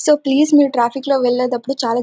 so please మీరు traffic లో వెళ్ళేటప్పుడు చాలా --